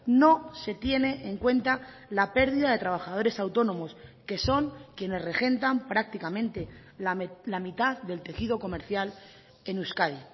no se tiene en cuenta la pérdida de trabajadores autónomos que son quienes regentan prácticamente la mitad del tejido comercial en euskadi